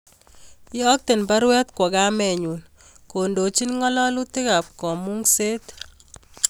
Iyokten baruet kwo kamenyun kondochin ngalalutik ab kamungset